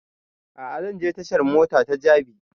A'a zan je tashan mota ta jabi